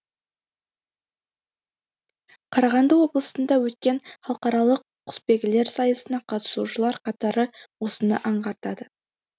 қарағанды облысында өткен халықаралық құсбегілер сайысына қатысушылар қатары осыны аңғартады